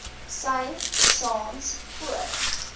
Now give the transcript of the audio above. sy saans voor